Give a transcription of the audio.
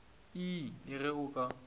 ii le ge o ka